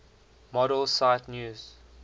model cite news